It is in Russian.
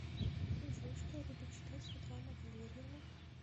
джой что любит читать светлана валерьевна